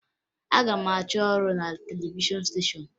Aga m achọ ọrụ na televishọn steshọn